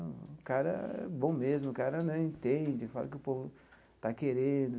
O cara é bom mesmo, o cara né entende, fala o que o povo está querendo.